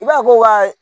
I b'a fɔ ko ka